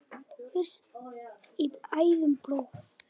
frýs í æðum blóð